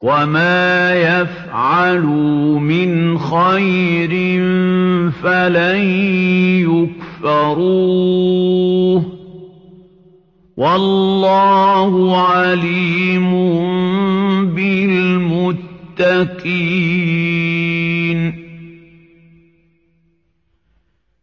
وَمَا يَفْعَلُوا مِنْ خَيْرٍ فَلَن يُكْفَرُوهُ ۗ وَاللَّهُ عَلِيمٌ بِالْمُتَّقِينَ